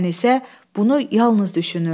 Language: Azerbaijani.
Ənisə bunu yalnız düşünürdü.